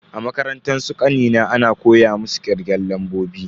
A makarantar su kanina ana koya musu kirgen lambobi.